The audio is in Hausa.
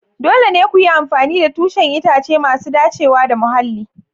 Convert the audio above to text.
Dole ne ku yi amfani da tushen itace masu dacewa da muhalli.